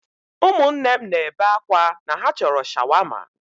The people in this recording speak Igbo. Ụmụnne m na-ebe akwa na ha chọrọ Shawama.